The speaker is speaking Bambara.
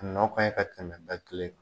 Nɔ kan ka tɛmɛ kelen